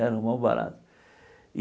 Era o maior barato.